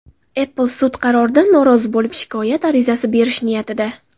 Apple sud qaroridan norozi bo‘lib shikoyat arizasi berish niyatida.